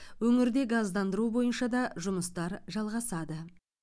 өңірде газдандыру бойынша да жұмыстар жалғасады